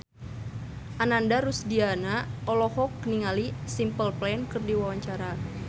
Ananda Rusdiana olohok ningali Simple Plan keur diwawancara